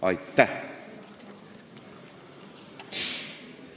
Aitäh!